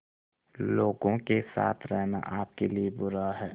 लोगों के साथ रहना आपके लिए बुरा है